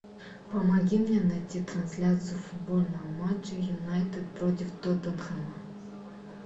помоги мне найти трансляцию футбольного матча юнайтед против тоттенхэма